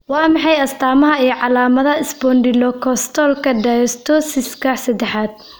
Waa maxay astamaha iyo calaamadaha Spondylocostalka dysostosiska sedexaad?